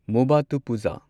ꯃꯨꯚꯠꯇꯨꯄꯨꯓꯥ